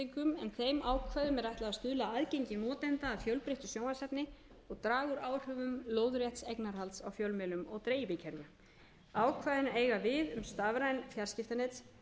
þeim ákvæðum er ætlað að stuðla að aðgengi notenda að fjölbreyttu sjónvarpsefni og draga úr áhrifum lóðrétts eignarhalds á fjölmiðlum og dreifikerfum ákvæðin eiga við um stafræn fjarskiptanet